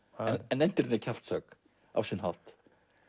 en endirinn er kjaftshögg á sinn hátt